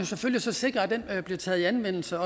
selvfølgelig så sikre at den bliver taget i anvendelse